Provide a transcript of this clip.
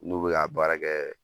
N'u bɛ k'a baara kɛ